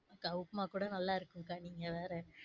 க உப்மா கூட நல்லா இருக்கும் க்கா நீங்கவேற,